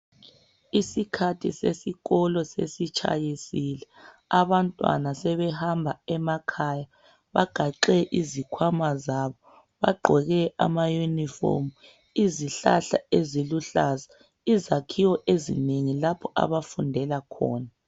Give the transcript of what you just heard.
Isikhathi sesikolo sesitshayisile, abantwana sebehamba emakhaya. Bagaxe izikhwama zabo, bagqoke amaunifomu. Izihlahla eziluhlaza, izakhiwo ezinengi lapho abafundela khona.